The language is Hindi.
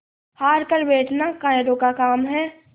हार कर बैठना कायरों का काम है